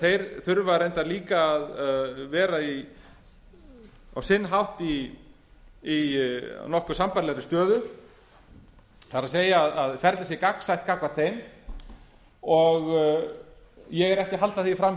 þeir þurfa reyndar líka að vera á sinn hátt í nokkuð sambærilegri stöðu það er að ferlið sé gagnsætt gagnvart þeim ég er ekki að halda því fram